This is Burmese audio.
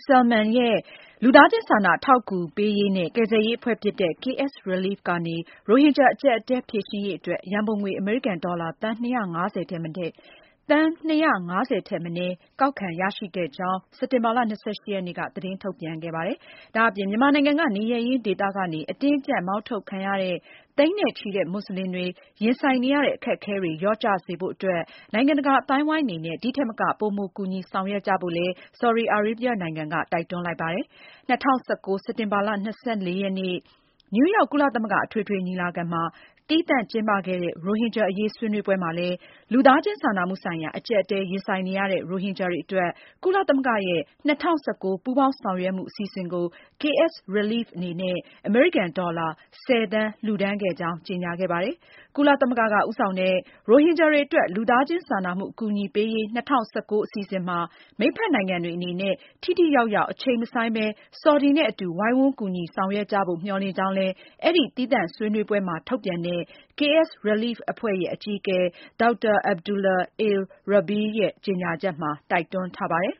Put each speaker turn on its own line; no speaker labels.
Salman ရဲ့ လူသားချင်းစာနာ အထောက်အကူပေးရေးနဲ့ ကယ်ဆယ်ရေး အဖွဲ့ဖြစ်တဲ့ KSrelief ကနေ ရိုဟင်ဂျာ အကျပ်အတည်း ဖြေရှင်းရေးအတွက် ရန်ပုံငွေ အမေရိကန်ဒေါ်လာ သန်း ၂၅၀ ထက်မနည်း ကောက်ခံရရှိခဲ့ကြောင်း စက်တင်ဘာလ ၂၈ ရက်နေ့က သတင်းထုတ်ပြန်ခဲ့ပါတယ်။ ဒါ့အပြင် မြန်မာနိုင်ငံက နေရပ်ရင်းဒေသနေ အတင်းအကျပ် မောင်းထုတ်ခံရတဲ့ သိန်းနဲ့ချီတဲ့ မွတ်စလင်တွေ ရင်ဆိုင်နေရတဲ့ အခက်အခဲတွေ လျော့ကျစေဖို့အတွက် နိုင်ငံတကာ အသိုင်းအဝိုင်းအနေနဲ့ ဒီထက်မက ပိုမိုကူညီဆောင်ရွက်ကြဖို့လည်း ဆော်ဒီအာရေဗျနိုင်ငံက တိုက်တွန်းလိုက်ပါတယ်။ ၂၀၁၉ စက်တင်ဘာလ ၂၄ ရက်နေ့ နယူးယောက် ကုလသမဂ္ဂ အထွေထွေညီလာခံမှာ သီးသန့်ကျင်းပခဲ့တဲ့ ရိုဟင်ဂျာအရေး ဆွေးနွေးပွဲမှာလည်း လူသားချင်းစာနာမှုဆိုင်ရာ အကျပ်အတည်း ရင်ဆိုင်နေရတဲ့ ရိုဟင်ဂျာတွေအတွက် ကုလသမဂ္ဂရဲ့ ၂၀၁၉ ပူးပေါင်းဆောင်ရွက်မှု အစီအစဉ်ကို KSrelief အနေနဲ့ အမေရိကန်ဒေါ်လာ ၁၀ သန်း လှူဒါန်းခဲ့ကြောင်း ကြေညာခဲ့ပါတယ်။ ကုလသမဂ္ဂက ဦးဆောင်တဲ့ ရိုဟင်ဂျာတွေအတွက် လူသားချင်းစာနာမှု အကူအညီပေးရေး အစီအစဉ်မှာ မိတ်ဘက်နိုင်ငံတွေအနေနဲ့ ထိထိရောက်ရောက် အချိန်မဆိုင်းဘဲ ဆော်ဒီနဲ့အတူ ဝိုင်းဝန်းပါဝင်ဆောင်ရွက်ကြဖို့ မျှော်လင့်ကြောင်း အဲဒီ သီးသန့်ဆွေးနွေးပွဲမှာ ထုတ်ပြန်တဲ့ KSrelief အဖွဲ့ရဲ့ အကြီးအကဲ Dr. Abdullah Al Rabeeah ရဲ့ ကြေညာချက်မှာ တိုက်တွန်းထားပါတယ်